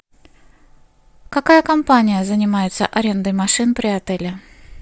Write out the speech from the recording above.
какая компания занимается арендой машин при отеле